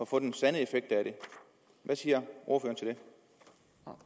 få den sande effekt af det hvad siger